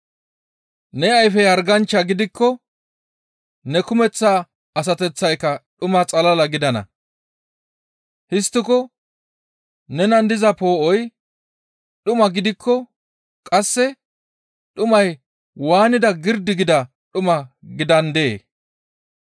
Ne ayfey harganchcha gidikko, ne kumeththa asateththayka dhuma xalla gidana. Histtiko nenan diza poo7oy dhuma gidikko, qasse dhumay waanida girdi gida dhuma gidandee?